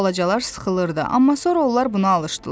Balacalar sıxılırdı, amma sonra onlar buna alışdılar.